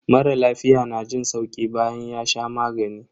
Mara lafiya na jin sauki bayan ya sha magani.